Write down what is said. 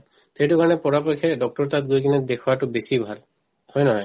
সেইটো কাৰণে পৰাপক্ষে doctor ৰৰ তাত গৈ কিনে দেখুৱাতো বেছি ভাল হয় নে নহয়